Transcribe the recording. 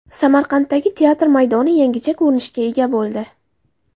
Samarqanddagi teatr maydoni yangicha ko‘rinishga ega bo‘ldi.